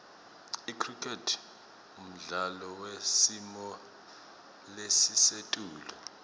icricket mdlalo wesimolesisetulu